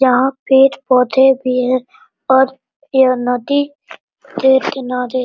जहाँ पेड़-पौधे भी है और यह नदी के किनारे --